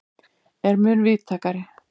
er mun víðtækari.